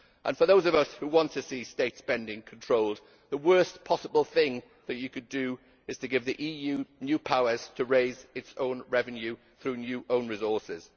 For those of us who want to see state spending controlled, the worst possible thing you could do is to give the EU new powers to raise its own revenue through new own resources.